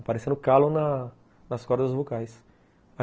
Apareceu calo na nas cordas vocais.